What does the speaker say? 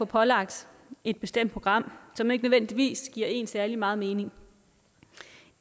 pålagt et bestemt program som ikke nødvendigvis giver en særlig meget mening